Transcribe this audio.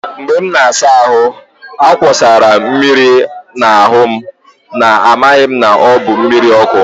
Mgbe m na-asa ahụ, a wụsara m mmiri n'ahụ n'amaghị na ọ bụ mmiri ọkụ.